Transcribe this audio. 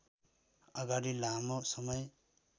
अगाडि लामो समय